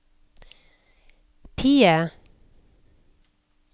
PIE